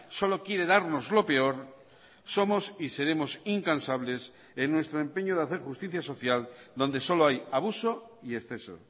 solo quiere darnos lo peor somos y seremos incansables en nuestro empeño de hacer justicia social donde solo hay abuso y exceso